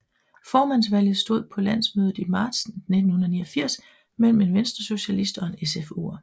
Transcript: Formandsvalget stod på landsmødet i marts 1989 mellem en venstresocialist og en SFUer